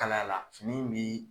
Kalaya la fini in bi